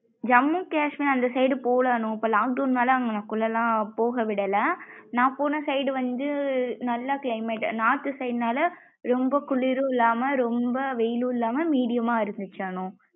ஜம்முன் கேஷ்மீர் அந்த side போல அனு இப்போ lockdown. நால அங்குனகுள்ளலாம் போக விடல நா போன side வந்து நல்லா climate north side. நால ரொம்ப குளிரும் இல்லாம ரொம்ப வெயில்லும் இல்லமா medium மா இருந்துச்சு அனு.